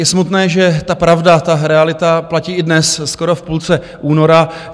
Je smutné, že ta pravda, ta realita platí i dnes, skoro v půlce února.